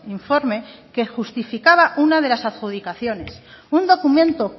informe que justificaba una de las adjudicaciones un documento